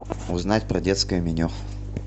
узнать про детское меню